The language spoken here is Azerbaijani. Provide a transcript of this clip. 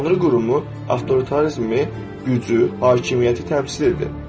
Tanrı qurumu avtoritarizmi, gücü, hakimiyyəti təmsil edir.